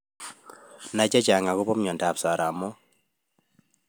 Nai chechang akopo miondop soromoik